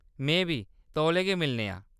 में बी, तौले गै मिलने आं !